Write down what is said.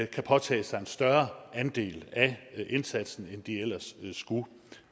kan påtage sig en større andel af indsatsen end de ellers skulle